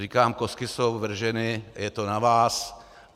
Říkám, kostky jsou vrženy, je to na vás.